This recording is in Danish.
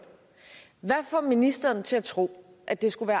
hvad får ministeren til at tro at det skulle